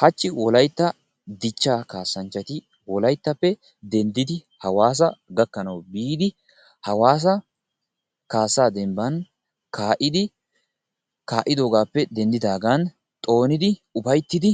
Hachchi wolaytta dichchaa kaassanchchati wolayttappe denddidi hawaasa gakkanawu biidi hawasa kaassa dembban kaa'iiddi kaa'idoogaappe denddidaagan xoonidi ufayittiiddi